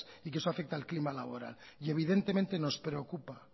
y que eso afecta al clima laboral evidentemente nos preocupa